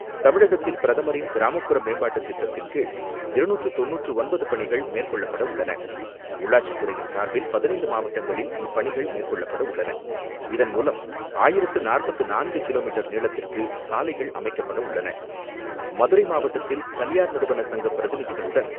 தமிழகத்தில் பிரதமரின் கிராமப்புற மேம்பாட்டுத் திட்டத்தின் கீழ் இருநூற்று தொன்னூற்று ஒன்பது பணிகள் மேற்கொள்ளப்பட உள்ளன. உள்ளாட்சி துறையின் சார்பில் பதினைந்து மாவட்டங்களில் இப்பணிகள் மேற்கொள்ளப்பட உள்ளன. இதன் மூலம் ஆயிரத்து நாற்பத்து நான்கு கிலோமீட்டர் நீளத்திற்கு சாலைகள் அமைக்கப்பட உள்ளன. மதுரை மாவட்டத்தில் தனியார் நிறுவன சங்க பிரதிநிதிகளுடன்,